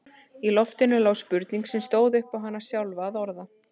Í loftinu lá spurning sem stóð upp á hana sjálfa að orða.